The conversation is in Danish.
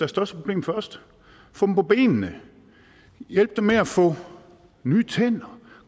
største problem først få dem på benene hjælpe dem med at få nye tænder